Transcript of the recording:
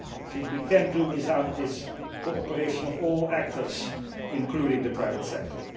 I think we cannot do without this cooperation of all actors, including the private sector.